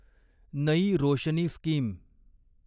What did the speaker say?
नयी रोशनी स्कीम